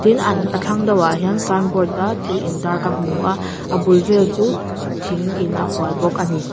tin a a thlang deuhah hian signboard a thil intar ka hmu a a bul vel chu thingin a hual bawk a ni.